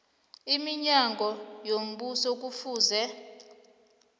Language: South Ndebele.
iminyango yombuso kufuze